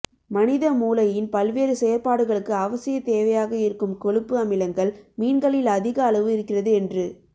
மனித மூளையின் பல்வேறு செயற்பாடுகளுக்கு அவசியத் தேவையாக இருக்கும் கொழுப்பு அமிலங்கள் மீன்களில் அதிக அளவு இருக்கிறது என்று